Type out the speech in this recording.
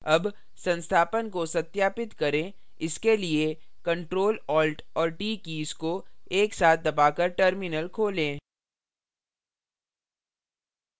अब संस्थापन को सत्यापित करें इसके लिए ctrl alt और t कीज़ को एक साथ दबाकर terminal खोलें